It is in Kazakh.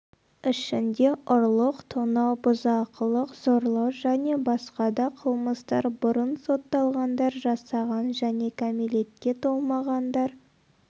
ішінде ұрлық тонау бұзақылық зорлау және басқа да қылмыстар бұрын сотталғандар жасаған және кәмелетке толмағандар